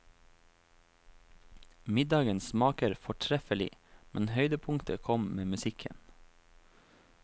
Middagen smaker fortreffelig, men høydepunktet kom med musikken.